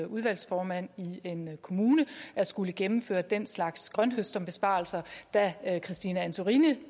udvalgsformand i en kommune og skullet gennemføre den slags grønthøsterbesparelser da christine antorini